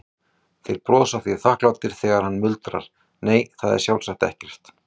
Þeir brosa því þakklátir þegar hann muldrar, nei, það er sjálfsagt ekkert.